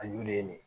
A y'ulen de